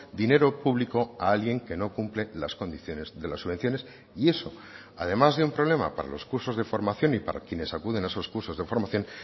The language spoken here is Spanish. dinero público a alguien que no cumple las condiciones de las subvenciones y eso además de un problema para los cursos de formación y para quienes acuden a esos cursos de formación